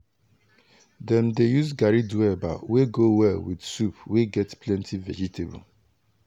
dem dey use garri do eba wey go well with soup wey get plenty vegetable.